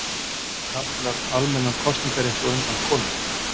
Fengu karlar almennan kosningarétt á undan konum?